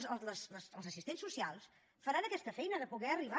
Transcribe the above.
els assistents socials faran aquesta feina de poder arribar